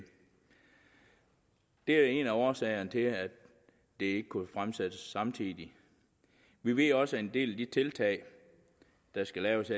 det er en af årsagerne til at det ikke kunne fremsættes samtidig vi ved også at en del af de tiltag der skal laves